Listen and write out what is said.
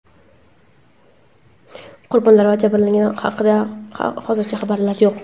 Qurbonlar va jabrlanganlar haqida hozircha ma’lumot yo‘q.